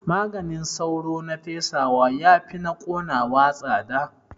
Maganin sauro na fesawa yafi na ƙonawa tsada